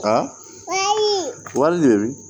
wali de